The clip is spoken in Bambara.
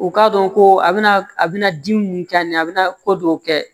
U k'a dɔn ko a bɛna a bɛna dimi mun k'a ɲɛ a bɛna ko dɔw kɛ